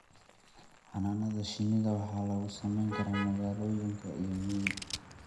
Xannaanada shinnida waxa lagu samayn karaa magaalooyinka iyo miyiga.